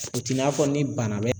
o t'i n'a fɔ ni bana bɛ